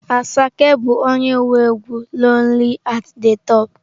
Asake bu onye nwe egwu 'lonely at the top'.